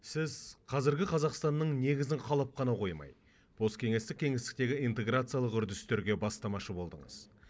сіз қазіргі қазақстанның негізін қалап қана қоймай посткеңестік кеңістіктегі интеграциялық үрдістерге бастамашы болдыңыз